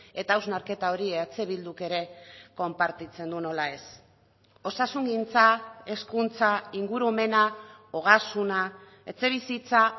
eta hausnarketa hori eh bilduk ere konpartitzen du nola ez osasungintza hezkuntza ingurumena ogasuna etxebizitza